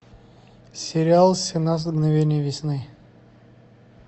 сериал семнадцать мгновений весны